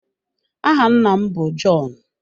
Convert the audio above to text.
Áhà nna m bụ John.